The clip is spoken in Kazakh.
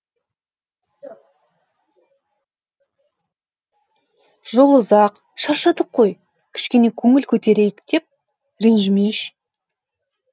жол ұзақ шаршадық қой кішкене көңіл көтерейік деп ренжімеші